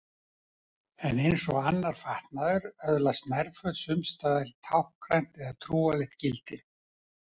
En eins og annar fatnaður öðlast nærföt sums staðar táknrænt eða trúarlegt gildi.